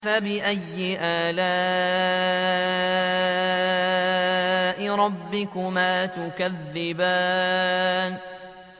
فَبِأَيِّ آلَاءِ رَبِّكُمَا تُكَذِّبَانِ